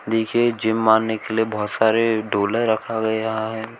देखिए जिम मारने के लिए बहोत सारे डोले रखा गया है।